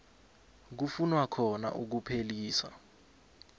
kufunwa khona ukuphelisa